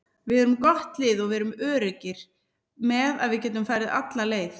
Við erum gott lið og við erum öruggir með að við getum farið alla leið.